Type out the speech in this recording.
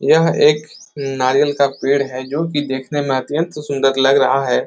यह एक नारियल का पेड़ है जो कि देखने में अत्यंत सुंदर लग रहा है।